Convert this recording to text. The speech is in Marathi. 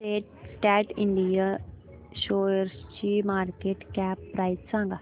सॅट इंड शेअरची मार्केट कॅप प्राइस सांगा